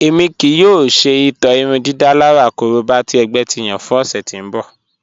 Ẹmi kìí yòò ṣè itọ̀ irúndídálàrà kòróbà tì ẹgbẹ̀ ti yàn fún òṣè tí n bọ̀.